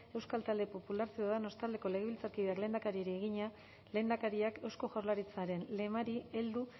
euskal talde popularra ciudadanos taldeko legebiltzarkideak lehendakariari egina lehendakariak eusko jaurlaritzaren lemari heldu